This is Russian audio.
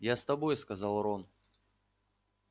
я с тобой сказал рон